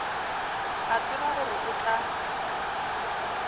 a tseba gore o tla